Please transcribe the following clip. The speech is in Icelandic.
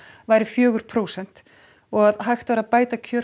væri fjögur prósent og að hægt væri að bæta kjör